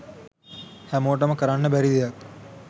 හැමෝටම කරන්න බැරි දෙයක්